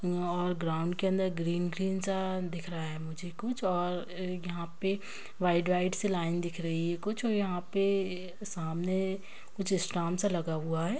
यहाँ और ग्राउन के अंदर ग्रीन ग्रीन सा दिख रहा है मुझे कुछ और यहाँ पे व्हाइट व्हाइट सी लाइन दिख रही है कुछ यहाँ पे सामने कुछ सा लगा हुआ है।